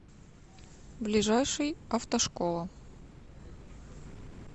ближайший автошкола